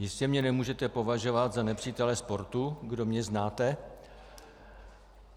Jistě mě nemůžete považovat za nepřítele sportu, kdo mě znáte.